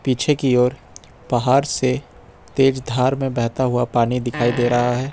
पीछे की और पहाड़ से तेज धार में बहता हुआ पानी दिखाई दे रहा है।